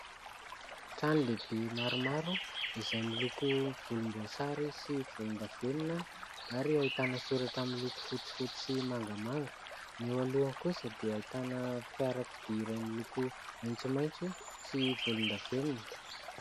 Trano lehibe maromaro izay miloko volomboasary sy volondavenona ary ahitana soratra miloko fotsifotsy sy mangamanga, ny eo alohany kosa dia ahitana fiarakodia iray miloko maitsomaitso sy volondavenona.